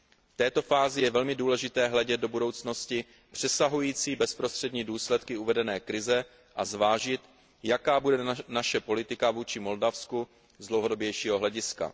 V této fázi je velmi důležité hledět do budoucnosti přesahující bezprostřední důsledky uvedené krize a zvážit, jaká bude naše politika vůči Moldavsku z dlouhodobějšího hlediska.